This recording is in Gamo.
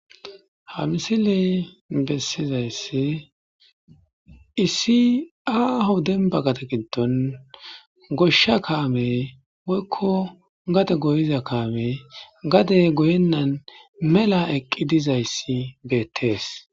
Ha misiley bessizayssi issi aaho demba gade gidon goshsha kaamey woyko gade goyiza kaamey gade goyenan mela eqqi dizayssi beetes.